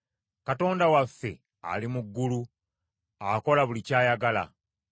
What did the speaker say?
Katonda waffe ali mu ggulu; akola buli ky’ayagala.